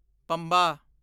Pamba